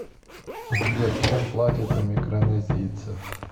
сбер чем платят у микронезийцев